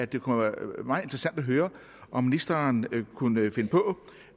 det kunne være meget interessant at høre om ministeren kunne finde på